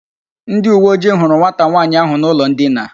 Ndi uwe oji huru nwata nwaanyi ahu n'ulo ndina